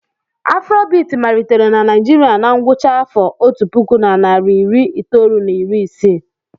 Afrobiti malitere na Naijiria na ngwụcha afa otu puku na nari iri itoolu na iri isii.